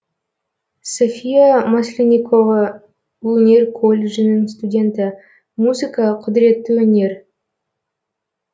софия масленникова өнер колледжінің студенті музыка құдіретті өнер